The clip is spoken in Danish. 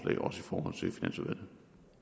så vil